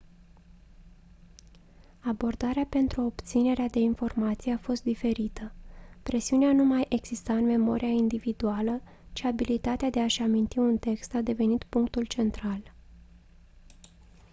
abordarea pentru obținerea de informații a fost diferită presiunea nu mai exista în memoria individuală ci abilitatea de a-și aminti un text a devenit punctul central